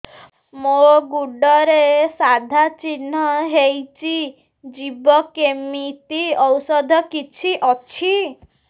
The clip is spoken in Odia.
ମୋ ଗୁଡ଼ରେ ସାଧା ଚିହ୍ନ ହେଇଚି ଯିବ କେମିତି ଔଷଧ କିଛି ଅଛି